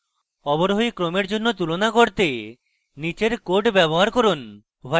অবরোহী ক্রমের জন্য তুলনার করতে নীচের code ব্যবহার করুন